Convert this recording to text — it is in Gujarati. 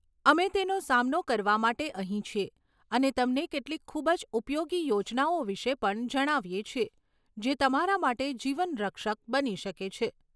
અમે તેનો સામનો કરવા માટે અહીં છીએ અને તમને કેટલીક ખૂબ જ ઉપયોગી યોજનાઓ વિશે પણ જણાવીએ છીએ જે તમારા માટે જીવનરક્ષક બની શકે છે.